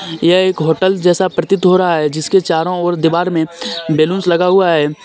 यह एक होटल जैसा प्रतीत हो रहा है जिस के चारो और दीवार में बेलुन्स लगा हुआ है.